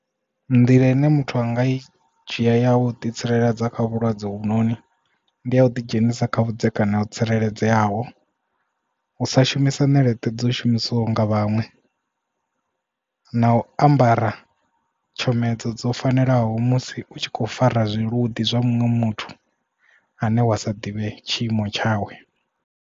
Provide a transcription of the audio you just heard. Nḓila ine muthu anga i dzhia yau ḓi tsireledza kha vhulwadze hovhu noni ndi a u ḓidzhenisa kha vhudzekani ho tsireledzeaho u sa shumisa ṋeleṱe dzo shumisiwa nga vhaṅwe na u ambara tshomedzo dzo fanelaho musi u tshi kho fara zwiluḓi zwa muṅwe muthu ane wa sa ḓivhe tshiimo tshawe.